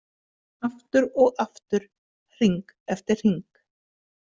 Aftur og aftur, hring eftir hring.